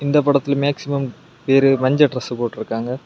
இந்த படத்துல மேக்ஸிமம் பேரு மஞ்ச டிரஸ் போட்டிருக்காங்க.